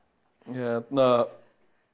hérna